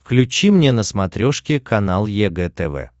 включи мне на смотрешке канал егэ тв